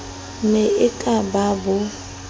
ne e ka ba bo